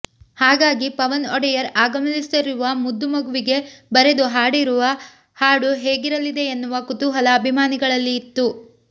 ಹಾಗಾಗಿ ಪವನ್ ಒಡೆಯರ್ ಆಗಮಿಸಲಿರುವ ಮುದ್ದು ಮಗುವಿಗೆ ಬರೆದು ಹಾಡಿರುವ ಹಾಡು ಹೇಗಿರಲಿದೆ ಎನ್ನುವ ಕುತೂಹಲ ಅಭಿಮಾನಿಗಳಲ್ಲಿ ಇತ್ತು